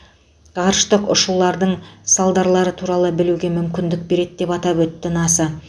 ғарыштық ұшулардың салдарлары туралы білуге мүмкіндік береді деп атап өтті наса